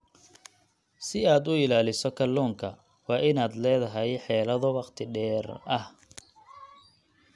Si aad u ilaaliso kalluunka, waa inaad leedahay xeelado wakhti dheer ah.